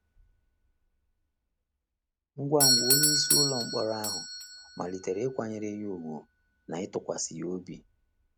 Ngwa ngwa, onyeisi ụlọ mkpọrọ ahụ malitere ịkwanyere ya ùgwù na ịtụkwasị ya obi.